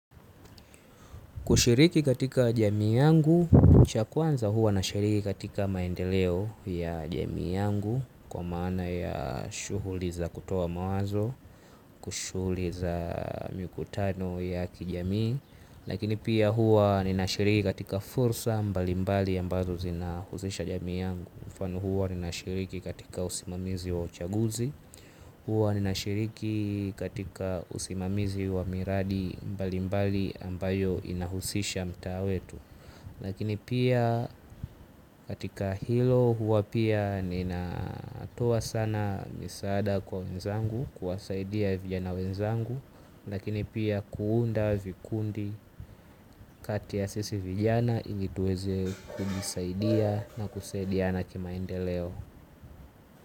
Kushiriki katika jamii yangu, cha kwanza huwa nashiriki katika maendeleo ya jamii yangu kwa maana ya shughuli za kutoa mawazo, shughuli za mikutano ya kijamii, lakini pia huwa ninashiriki katika fursa mbalimbali ambazo zinahusisha jamii yangu. Mfano huwa nina shiriki katika usimamizi wa uchaguzi huwa nina shiriki katika usimamizi wa miradi mbali mbali ambayo inahusisha mtaa wetu lakini pia katika hilo huwa pia nina toa sana misaada kwa wenzangu kuwasaidia vijana wenzangu lakini pia kuunda vikundi kati ya sisi vijana ili tuweze kujisaidia na kusaidiana kimaendeleo.